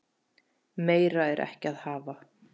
Meira er ekki að hafa.